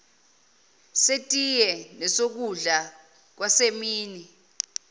setiye nesokudla kwasemini